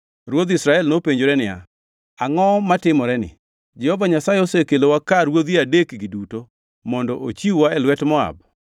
Ruodh Israel nopenjore niya, “Angʼo matimoreni! Jehova Nyasaye osekelowa ka ruodhi adekgi duto mondo ochiw-wa e lwet Moab?”